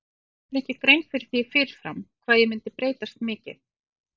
Ég gerði mér ekki grein fyrir því fyrir fram hvað ég myndi breytast mikið.